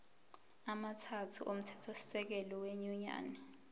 amathathu omthethosisekelo wenyunyane